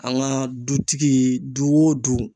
An ka dutigi du o du